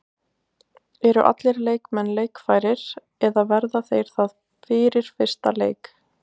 Eru allir leikmenn leikfærir eða verða þeir það fyrir fyrsta leik?